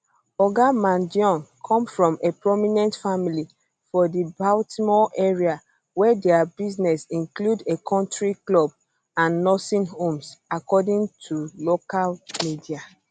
oga mangione um come from a prominent family for di baltimore area wey dia businesses include a country club um and nursing homes according to local media